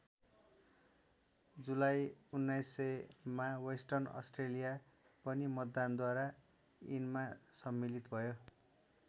जुलाई १९०० मा western Australia पनि मतदानद्वारा यिनमा सम्मिलित भयो।